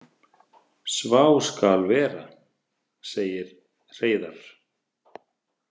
Svá skal vera, segir Hreiðarr.